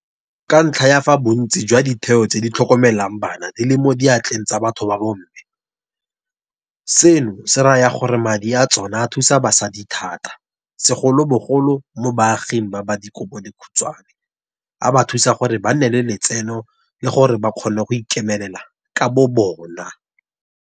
Ka ntlha ya fa bontsi jwa ditheo tse di tlhokomelang bana di le mo diatleng tsa batho ba bomme, seno se raya gore madi a tsona a thusa basadi thata, segolobogolo mo baaging ba ba dikobodikhutshwane, a ba thusa gore ba nne le letseno le gore ba kgone go ikemela ka bobona.